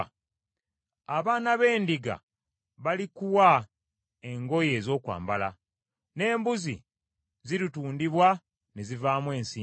abaana b’endiga balikuwa engoye ez’okwambala, n’embuzi ziritundibwa ne zivaamu ensimbi.